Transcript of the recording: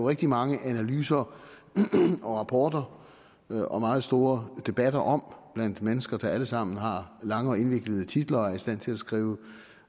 rigtig mange analyser rapporter og og meget store debatter om blandt mennesker der alle sammen har lange og indviklede titler og er i stand til at skrive